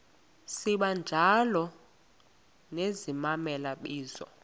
sibanjalo nezimela bizo